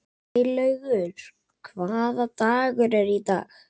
Snælaugur, hvaða dagur er í dag?